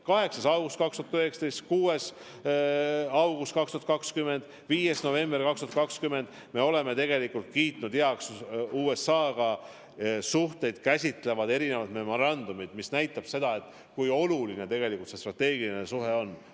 8. august 2019, 6. august 2020, 5. november 2020 – me oleme kiitnud heaks USA-ga suhteid käsitlevad erinevad memorandumid, mis näitab seda, kui olulised tegelikult need strateegilised suhted on.